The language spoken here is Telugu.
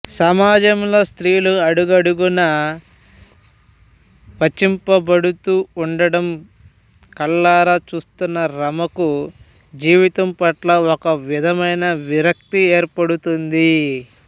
సమాజంలో స్త్రీలు అడుగడుగునా వంచింపబడుతూ ఉండడం కళ్ళారా చూస్తున్న రమకు జీవితం పట్ల ఒక విధమైన విరక్తి ఏర్పడుతుంది